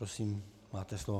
Prosím, máte slovo.